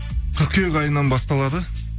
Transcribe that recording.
қыркүйек айынан басталады